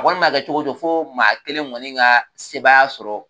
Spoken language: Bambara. A kɔni m'a kɛ cogo o cogo fɔ maa kelen kɔni ka sebaya sɔrɔ,